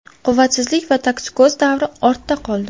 Quvvatsizlik va toksikoz davri ortda qoldi.